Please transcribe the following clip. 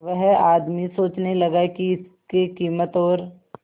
वह आदमी सोचने लगा की इसके कीमत और